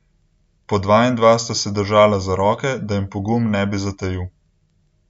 Po dva in dva sta se držala za roke, da jim pogum ne bi zatajil.